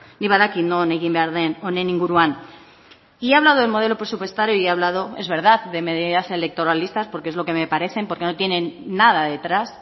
nik badakit non egin behar den honen inguruan y ha hablado del modelo presupuestario y ha hablado es verdad de medidas electoralistas porque es lo que me parecen porque no tienen nada detrás